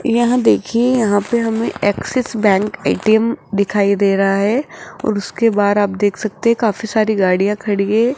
यहां देखिए यहां पे हमें एक्सिस बैंक ए_टी_एम दिखाई दे रहा है और उसके बाहर आप देख सकते काफी सारी गाड़ियां खड़ी हैं।